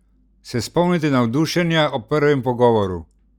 Se spomnite navdušenja ob prvem pogovoru?